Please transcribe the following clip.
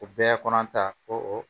O bɛɛ kɔnɔ ta ko o